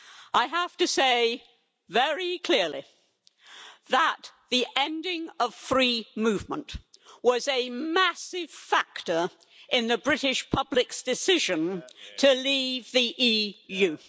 I have to say very clearly that the ending of free movement was a massive factor in the British public's decision to leave the EU.